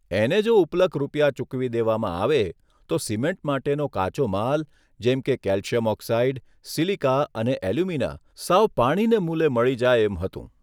એને જો ઉપલક રૂપિયા ચૂકવી દેવામાં આવે તો સિમેન્ટ માટેનો કાચો માલ જેમ કે કેલિશ્યમ ઓક્સાઇડ, સીલીકા અને એલ્યુમિના સાવ પાણીને મૂલે મળી જાય એમ હતું.